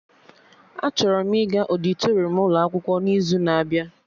Achọrọ m ịga ọdịtorum ụlọ akwụkwọ n'izu na-abịa